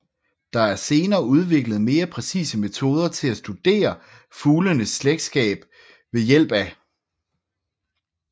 Der er senere udviklet mere præcise metoder til at studere fuglenes slægtskab vha